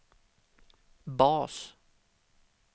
bas